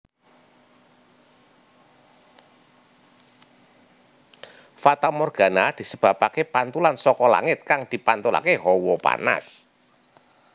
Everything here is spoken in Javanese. Fatamorgana disebabaké pantulan saka langit kang dipantulaké hawa panas